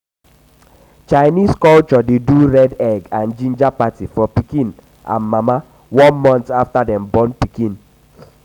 chinese culture de do red egg and ginger party for pikin pikin and mama one month after dem born pikin